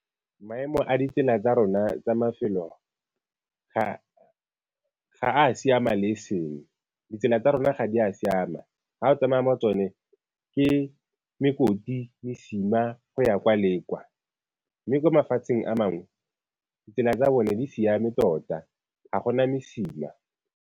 Maemo a ditsela tsa rona tsa mafelo ga a siama le e seng, ditsela tsa rona ga di a siama. Ga o tsamaya mo go tsone ke mekoti, mesima go ya kwa le kwa, mme kwa mafatsheng a mangwe ditsela tsa bone di siame tota, ga gona mesima.